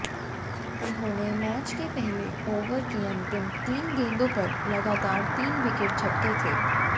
उन्होंने मैच के पहले ओवर की अंतिम तीन गेंदों पर लगातार तीन विकेट झटके थे